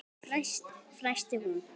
fnæsti hún.